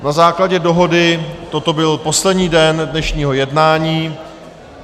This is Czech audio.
Na základě dohody toto byl poslední bod dnešního jednání.